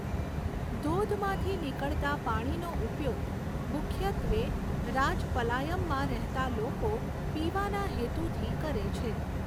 ધોધમાંથી નીકળતા પાણીનો ઉપયોગ મુખ્યત્વે રાજપલાયમમાં રહેતા લોકો પીવાના હેતુથી કરે છે.